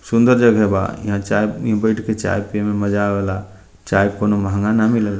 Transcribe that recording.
सुन्दर जगह बा यहाँ चाय इ बैठ के चाय पिये में मजा आवेला चाय कोनो महंगा न मिले ला।